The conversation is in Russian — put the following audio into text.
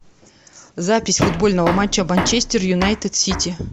запись футбольного матча манчестер юнайтед сити